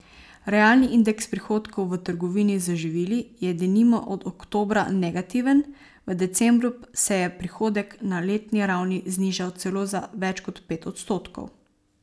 Realni indeks prihodkov v trgovini z živili je denimo od oktobra negativen, v decembru se je prihodek na letni ravni znižal celo za več kot pet odstotkov.